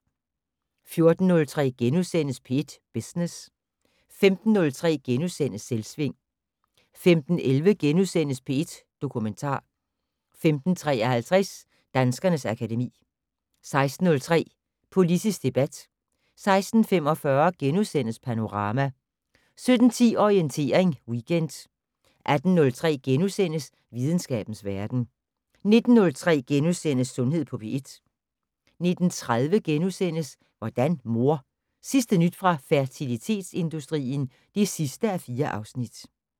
14:03: P1 Business * 15:03: Selvsving * 15:11: P1 Dokumentar * 15:53: Danskernes akademi 16:03: Politisk debat 16:45: Panorama * 17:10: Orientering Weekend 18:03: Videnskabens verden * 19:03: Sundhed på P1 * 19:30: Hvordan mor? Sidste nyt fra fertilitetsindustrien (4:4)*